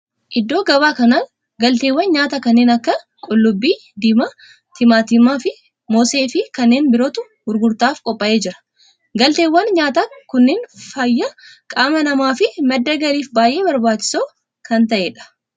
Iddoo gabaa kana galteewwan nyaataa kanneen akka qullubbii diimaa, timaatima, moosee fi kanneen birootu gurgurtaaf qophaa'ee jira. Galteewwan nyaataa kunneen fayyaa qaama namaa fi madda galiif baayyee barbaachisoo kan ta'edha.